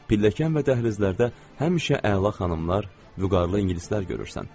Pilləkən və dəhlizlərdə həmişə əla xanımlar, vüqarlı ingilislər görürsən.